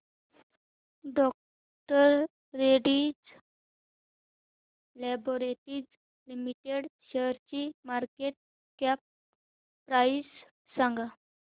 डॉ Reddy's laboratories limited शेअरची market cap price सांगा